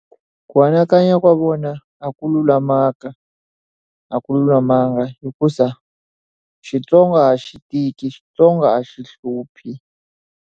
Ku anakanya ka vona a ku lulamanga a ku lulamanga hikusa, Xitsonga a xi tiki xitsonga a xi hluphi.